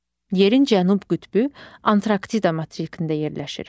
Yerin cənub qütbü Antarktida materikində yerləşir.